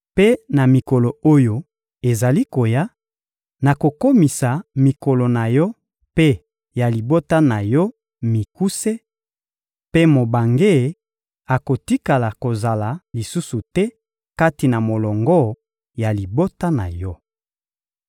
Mpe na mikolo oyo ezali koya, nakokomisa mikolo na yo mpe ya libota na yo mikuse, mpe mobange akotikala kozala lisusu te kati na molongo ya libota na yo.